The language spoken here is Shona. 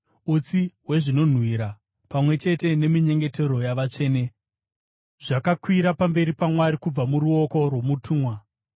Utsi hwezvinonhuhwira, pamwe chete neminyengetero yavatsvene, zvakakwira pamberi paMwari kubva muruoko rwomutumwa.